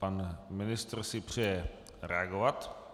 Pan ministr si přeje reagovat.